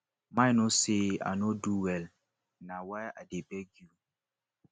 mei no say i no do well na why i dey beg you